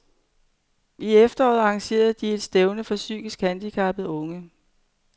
I efteråret arrangerede de et stævne for psykisk handicappede unge.